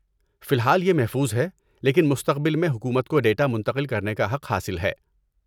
فی الحال یہ محفوظ ہے، لیکن مستقبل میں حکومت کو ڈیٹا منتقل کرنے کا حق حاصل ہے۔